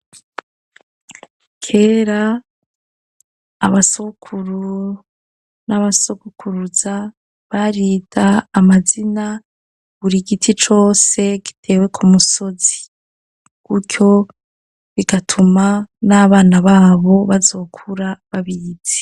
Kera abasogokuru n'abasogokuruza barita amazina buri giti cose gitewe ku musozi kutyo bigatuma n'abana babo bazokura babizi.